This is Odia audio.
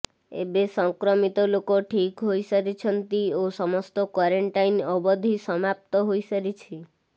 ଏବେ ସଂକ୍ରମିତ ଲୋକ ଠିକ୍ ହୋଇ ସାରିଛନ୍ତି ଓ ସମସ୍ତ କ୍ବାରେଣ୍ଟାଇନ୍ ଅବଧି ସମାପ୍ତ ହୋଇ ସାରିଛି